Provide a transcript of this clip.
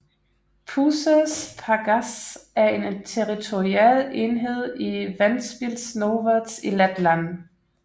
Puzes pagasts er en territorial enhed i Ventspils novads i Letland